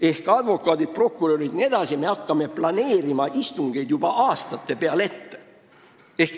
" Ehk advokaadid, prokurörid jne hakkavad planeerima istungeid juba aastate peale ette.